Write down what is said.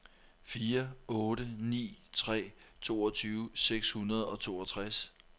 fire otte ni tre toogtyve seks hundrede og toogtres